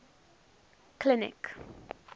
clinic